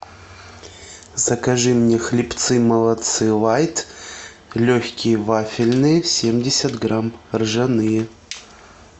закажи мне хлебцы молодцы лайт легкие вафельные семьдесят грамм ржаные